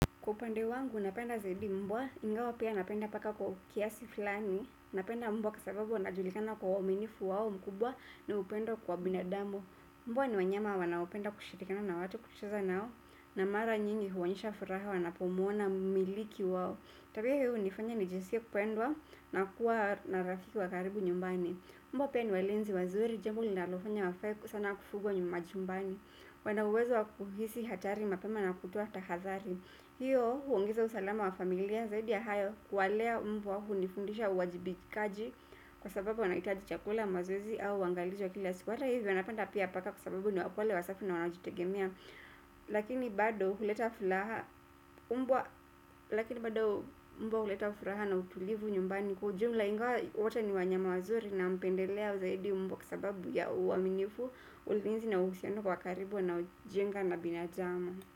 Kwa upande wangu, napenda zaidi mbwa, ingawa pia napenda paka kwa kiasi fulani, napenda mbwa kwa sababu wanajulikana kwa uaminifu wao mkubwa na upendo kwa binadamu. Mbwa ni wanyama wanaopenda kushirikana na watu kucheza nao, na mara nyingi huonyesha furaha wanapomwona mmiliki wao. Tabia hii hunifanya nijiskie kupendwa na kuwa na rafiki wa karibu nyumbani. Mbwa pia ni walinzi wazuri jambo linalofanya wafae sana kufugwa nyumajumbani. Wanauwezo wakuhisi hatari mapema na kutoa tahadhari. Hiyo huongeza usalama wa familia zaidi ya hayo kuwalea mbwa hunifundisha uwajibikaji kwa sababu wanahitaji chakula mazoezi au waangalizi wa kila siku hata hivyo napanda pia paka kwa sababu ni wapole wa safi na wanajitegemea lakini lakini bado mbwa huleta furaha na utulivu nyumbani kwa ujumla ingawa wote ni wanyama wazuri nampendelea zaidi mbwa kwa sababu ya uaminifu ulinzi na uhusiano wa karibu wanaojenga na binadamu.